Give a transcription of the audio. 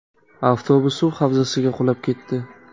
Avtobus suv havzasiga qulab ketdi.